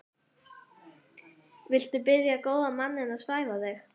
Viltu biðja góða manninn að svæfa þig?